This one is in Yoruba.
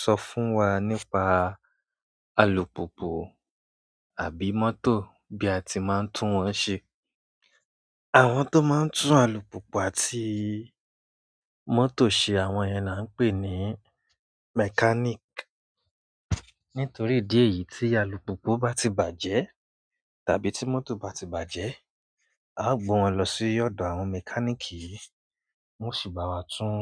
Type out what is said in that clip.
Sọ fún wa nípa alùpùpù àbí mọ́tò bí a ti máa ń tún wọ́n ṣe. Àwọn tó máa ń tún alùpùpù àti mọ́tò ṣe, àwọn yẹn ni a ń pè ní mechanic. Nítorí idí ẹ̀yì tí alùpùpù bá ti bàjẹ́ tàbí tí mọ́tò bá ti bàjẹ́, a ó gbé wọn lọ sí ọ̀dọ̀ àwọn mechanic, wọ́n o sì bá wa tún